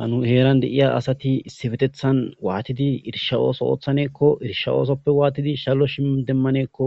hanu heeran deiya asati issi fetethan waatidi irisha ooso oothaneekko irisha oosoppe waatidi shallo shidemmaneekko